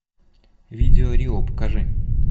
видео рио покажи